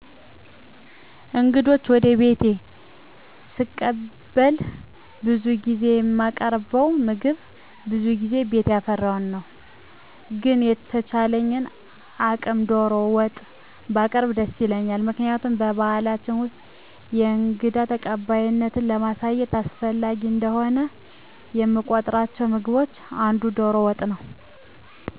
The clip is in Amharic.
እንግዶችን ወደ ቤቴ ሰቀበል ብዙውን ጊዜ የማቀርበዉ ምግብ በዙ ጊዜ ቤት ያፈራዉን ነዉ። ግን በተቻለኝ አቅም ዶሮ ወጥ ባቀረቡ ደስ ይለኛል ምክንያቱም በባሕላችን ውስጥ የእንግዳ ተቀባይነትን ለማሳየት አስፈላጊ እንደሆነ ከምቆጥሯቸው ምግቦች አንዱ ዶሮ ወጥ ነወ